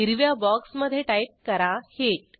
हिरव्या बॉक्समधे टाईप करा हीट